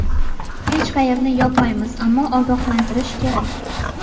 Hech qayerni yopmaymiz, ammo ogohlantirish kerak.